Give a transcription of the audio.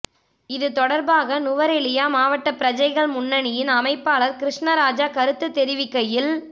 இது தொடர்பாக நுவரெலியா மாவட்ட பிரஜைகள் முன்னணியின் அமைப்பாளர் கிருஸ்ணராஜா கருத்து தெரிவிக்கையில்